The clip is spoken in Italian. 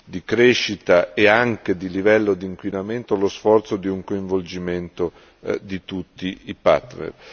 di crescita e anche di livello di inquinamento lo sforzo di un coinvolgimento di tutti i partner.